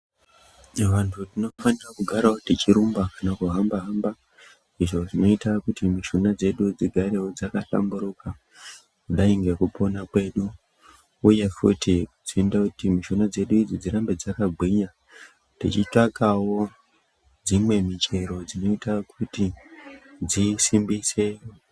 Vanthu tinofane kugarawo tichirumba kana kuhamba-hamba izvo zvinoita kuti mishuna dzedu dzigarewo dzakahlamburuka, kudai ngekupona kwedu. Uye futi kuite kuti mishuna dzedu idzi dzigare dzakagwinya, tichitsvakawo dzimwe michero dzinoita kuti dzisimbise.